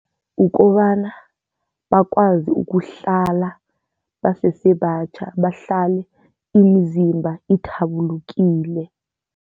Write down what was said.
Ukobana bakwazi ukuhlala basese batjha, bahlale imizimba ithabulukile.